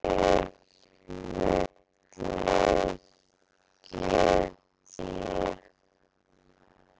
Þori ég- vil ég- get ég?